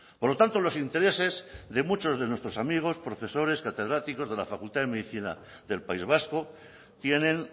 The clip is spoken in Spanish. por lo tanto los intereses de muchos de nuestros amigos profesores catedráticos de la facultad de medicina del país vasco tienen